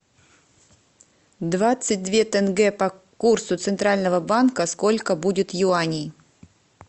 двадцать две тенге по курсу центрального банка сколько будет юаней